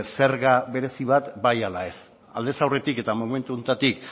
zerga berezi bat bai ala ez aldez aurretik eta momentu honetatik